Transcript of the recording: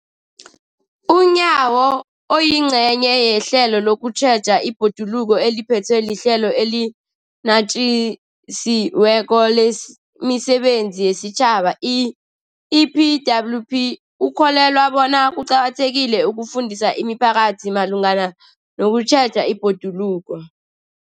UNyawo, oyingcenye yehlelo lokutjheja ibhoduluko eliphethwe liHlelo eliNatjisi weko lemiSebenzi yesiTjhaba, i-EPWP, ukholelwa bona kuqakathekile ukufundisa imiphakathi malungana nokutjheja ibhoduluko.